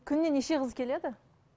күніне неше қыз келеді